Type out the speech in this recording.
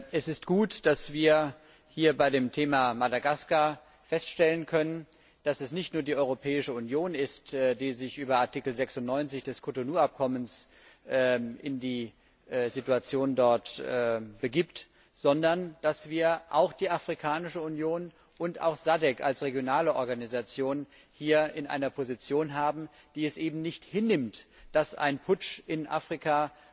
Es ist gut, dass wir beim Thema Madagaskar feststellen können, dass es nicht nur die Europäische Union ist, die sich über Artikel 96 des Cotonou Abkommens in die Situation dort begibt, sondern dass wir auch die Afrikanische Union und SADC als regionale Organisation hier in einer Position haben, die es nicht hinnimmt, dass weiterhin ein Putsch in Afrika